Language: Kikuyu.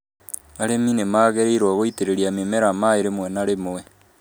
Arĩmi nĩ magĩrĩirũo gũitĩrĩria mĩmera maĩ rĩmwe na rĩmwe